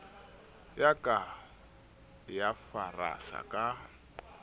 ya ka ya farasa ka